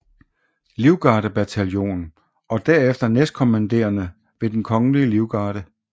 Livgardebataljon og derefter næstkommanderende ved Den Kongelige Livgarde